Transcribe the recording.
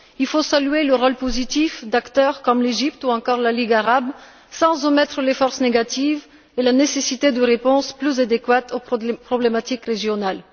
Il faut saluer le rôle positif d'acteurs comme l'Égypte ou encore la Ligue arabe, sans omettre les forces négatives et la nécessité de réponses plus adéquates aux problématiques régionales.